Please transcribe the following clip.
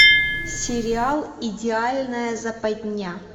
сериал идеальная западня